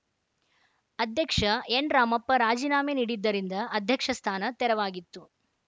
ಅಧ್ಯಕ್ಷ ಎನ್‌ ರಾಮಪ್ಪ ರಾಜಿನಾಮೆ ನೀಡಿದ್ದರಿಂದ ಅಧ್ಯಕ್ಷ ಸ್ಥಾನ ತೆರವಾಗಿತ್ತು